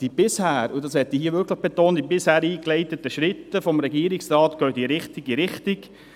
Die bisher durch den Regierungsrat eingeleiteten Schritte – das möchte ich hier betonen – gehen in die richtige Richtung.